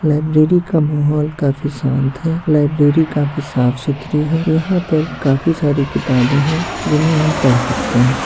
Library का माहौल काफी शांत है लाइब्रेरी काफी साफ-सुथरी है यहां पर काफी सारी किताबे है जिन्हें हम पढ़ सकते है।